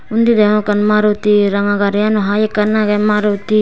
undi degong ekan maruti ranga garigano hai ekan agay maruti.